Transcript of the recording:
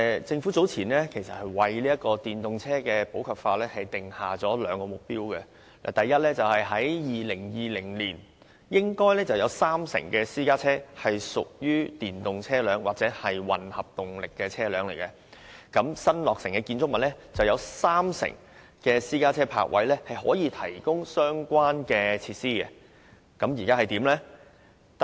政府早前已為電動車普及化訂下兩個目標：第一，在2020年應有三成私家車屬電動車輛或混合動力車輛；以及第二，在新落成的建築物內應有三成私家車泊車位可提供相關設施。